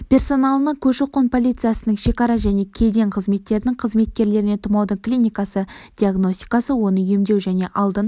персоналына көші-қон полициясының шекара және кеден қызметтерінің қызметкерлеріне тұмаудың клиникасы диагностикасы оны емдеу және алдын